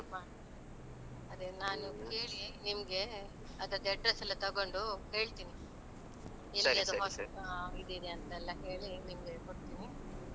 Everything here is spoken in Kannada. ಹ ನಿಮ್ಗೆ ಅದ್ರದ್ address ಎಲ್ಲಾ ತೊಗೊಂಡು ಹೇಳ್ತೀನಿ. ಆ ಇದಿದೆ ಅಂತೆಲ್ಲ ಹೇಳಿ ನಿಮ್ಗೆ ಕೊಡ್ತೀನಿ.